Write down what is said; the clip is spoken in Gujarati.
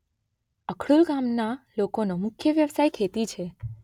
અખડોલ ગામના લોકોનો મુખ્ય વ્યવસાય ખેતી છે.